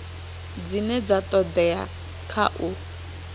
dzine dza todea kha u